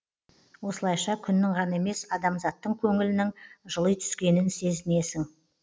осылайша күннің ғана емес адамзаттың көңілінің жыли түскенін сезінесің